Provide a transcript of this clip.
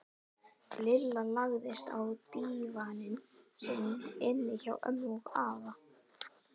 Lilla lagðist á dívaninn sinn inni hjá ömmu og afa.